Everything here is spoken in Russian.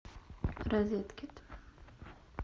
розеткет